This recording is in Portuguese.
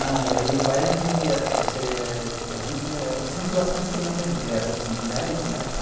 Não, meu pai era que ele tinha... a gente era sempre bastante criança junto, porque éramos em em dez, né?